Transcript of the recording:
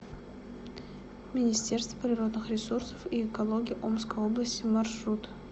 министерство природных ресурсов и экологии омской области маршрут